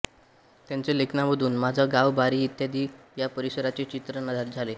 त्यांच्या लेखनामधून माझा गाव बारी इत्यादी या परिसराचे चित्रण झाले